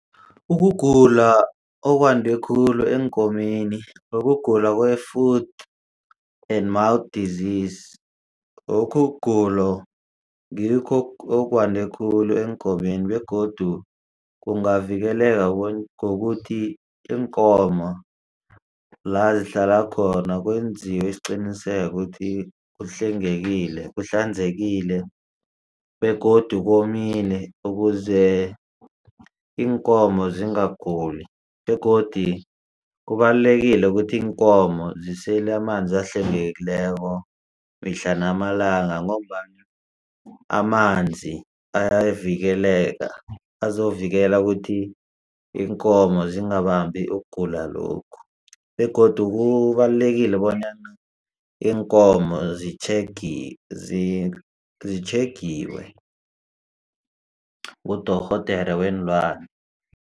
Ukugula okwande khulu eenkomeni ukugula kwe-foot and mouth disease lokhu ukugula ngikho okwande khulu eenkomeni begodu kungavikeleka ngokuthi iinkomo lazihlala khona kwenziwa isiqiniseko ukuthi kuhlengekile kuhlanzekile begodu komile ukuze iinkomo zingaguli. Begodi kubalulekile ukuthi iinkomo zisele amanzi ahlwegekileko mihla namalanga ngombana amanzi ayavikeleka azovikela ukuthi iinkomo zingabambi ukugula lokhu begodu kubalulekile bonyana iinkomo zitjhegiwe ngudorhodere weenlwane.